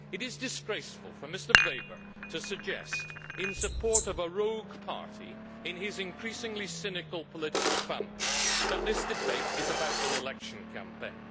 It is disgraceful for Mr Weber to suggest, in support of a rogue party in his increasingly cynical political family, that this debate is about an election campaign.